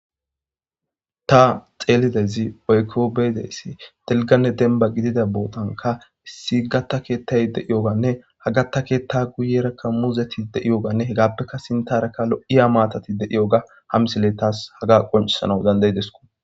Ta xeelidezi oykko beedeyssi delganne denba gidida bootanka issi gatta keettay deiyoganne ha gatta keetta guyerakka muuzeti de7iyoganne hegappeka sintarakka lo7iya maatati de7iyoga hamsile taas haga qoncisana dandaydesku.